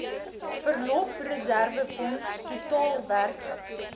verlofreserwefonds totaal werklik